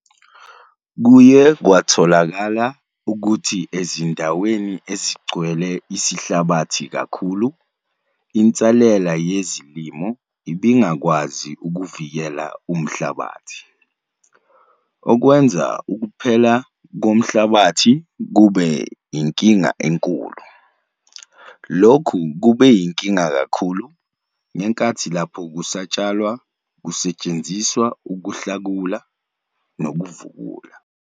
Kuye kwatholakala ukuthi ezindaweni ezigcwele isihlabathi kakhulu insalela yezilimo ibingakwazi ukuvikela umhlabathi, okwenza ukuphela komhlabathi kube yinkinga enkulu. Lokhu kube yinkinga kakhulu ngenkathi lapho kusatshalwa kusetshenziswa ukuhlakula nokudiska.